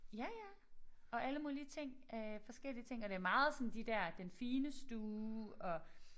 Ja ja og alle mulige ting øh forskellige ting og det meget sådan de der den fine stue og